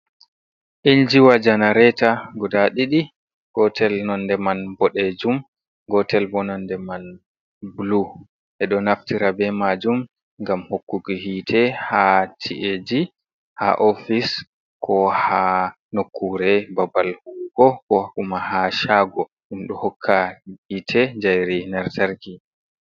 Injiwa janareeta guda ɗiɗi, gotel nonde man boɗeejum, gotel bo nonde man blu. Ɓe ɗo naftira be maajum ngam hokkuki hiite ha ci'eji, ha ofis, ko ha nokkuure babal huwugo, ko kuma haa shaago, ɗum ɗo hokka hiite njairi lantarki.